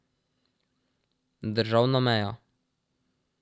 Državna meja.